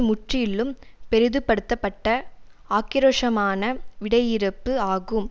முற்றிலும் பெரிதுபடுத்தப்பட்ட ஆக்கிரோஷமான விடையிறுப்பு ஆகும்